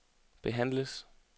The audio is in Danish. behandles